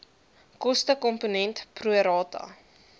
kostekomponent pro rata